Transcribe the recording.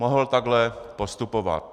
Mohl takhle postupovat.